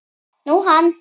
Nú, hann.